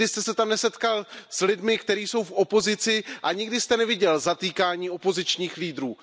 Nikdy jste se tam nesetkal s lidmi, kteří jsou v opozici, a nikdy jste neviděl zatýkání opozičních lídrů.